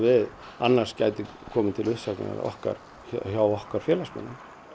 annars gæti komið til uppsagna hjá okkar hjá okkar félagsmönnum